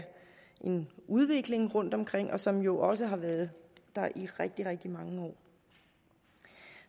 en udvikling rundtomkring som jo også har været der i rigtig rigtig mange år